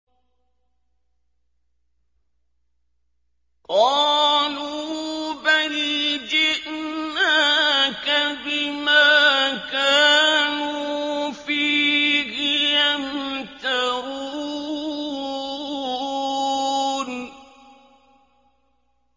قَالُوا بَلْ جِئْنَاكَ بِمَا كَانُوا فِيهِ يَمْتَرُونَ